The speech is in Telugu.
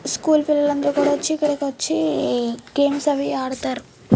స్కూల్ పిలల్లు అందరు కూడా వచ్చి ఇక్కడకు వచ్చి గేమ్స అవి ఆడుతారు.